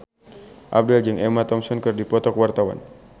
Abdel jeung Emma Thompson keur dipoto ku wartawan